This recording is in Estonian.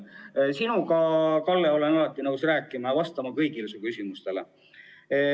Aga sinuga, Kalle, olen alati nõus rääkima ja vastama kõigile su küsimustele.